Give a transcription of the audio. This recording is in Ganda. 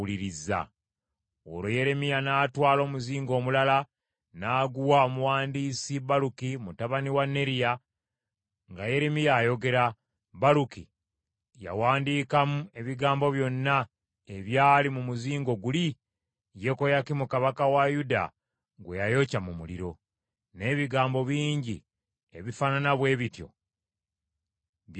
Olwo Yeremiya n’atwala omuzingo omulala n’aguwa omuwandiisi Baluki mutabani wa Neriya; nga Yeremiya ayogera, Baluki yawandiikamu ebigambo byonna ebyali mu muzingo guli Yekoyakimu kabaka wa Yuda gwe yayokya mu muliro. N’ebigambo bingi ebifaanana bwe bityo byayongerwamu.